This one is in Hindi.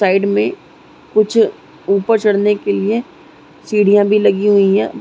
साइड में कुछ ऊपर चढ़ने के लिए सीढ़ियां भी लगी हुई है।